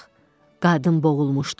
Qadın boğulmuşdu.